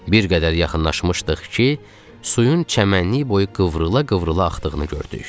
Bir qədər yaxınlaşmışdıq ki, suyun çəmənlik boyu qıvrıla-qıvrıla axdığını gördük.